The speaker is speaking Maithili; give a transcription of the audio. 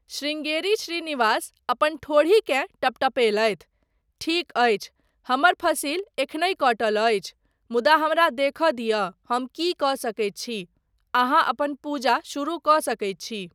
शृंगेरी श्रीनिवास अपन ठोड़ीकेँ टपटपेलथि। 'ठीक अछि, हमर फसिल एखनहि कटल अछि, मुदा हमरा देखय दिअ हम की कऽ सकैत छी। अहाँ अपन पूजा शुरू कऽ सकैत छी।